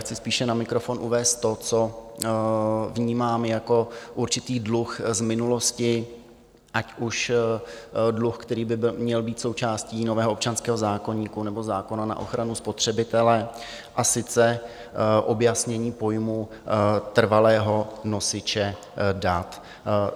Chci spíše na mikrofon uvést to, co vnímám jako určitý dluh z minulosti, ať už dluh, který by měl být součástí nového občanského zákoníku nebo zákona na ochranu spotřebitele, a sice objasnění pojmu trvalého nosiče dat.